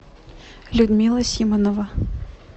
людмила симанова